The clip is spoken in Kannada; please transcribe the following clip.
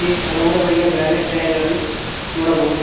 ಇಲ್ಲಿ ಹಲವಾರು ಬಗೆಯ ಬ್ರಾಂಡೆಡ್ ಟೈಯರ್ ಗಳನ್ನು ನೋಡಬಹುದು.